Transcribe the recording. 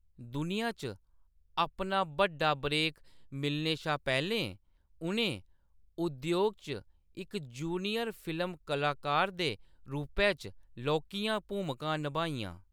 दुनिया च अपना बड्डा ब्रेक मिलने शा पैह्‌‌‌लें, उʼनें उद्योग च इक जूनियर फिल्म कलाकार दे रूपै च लौह्‌‌‌कियां भूमिकां नभाइयां।